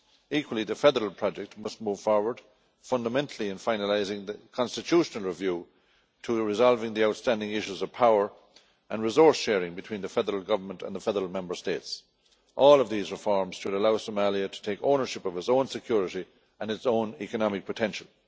Equally, the federal project must move forward, fundamentally in finalising the constitutional review to resolve the outstanding issues of power and resource sharing between the federal government and the federal member states. All of these reforms should allow Somalia to take ownership of its own security and its own economic potential.